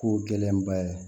Ko gɛlɛnba ye